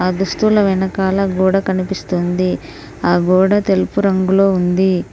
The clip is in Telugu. దుస్తుల వెనకాల గోడ కనిపిస్తుంది ఆ గోడ తెలుపు రంగులో ఉంది.